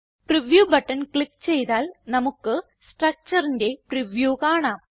preview button click ചെയ്താൽ നമുക്ക് structureന്റെ പ്രിവ്യൂ കാണാം